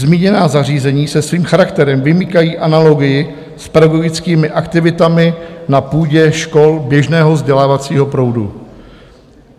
Zmíněná zařízení se svým charakterem vymykají analogii s pedagogickými aktivitami na půdě škol běžného vzdělávacího proudu.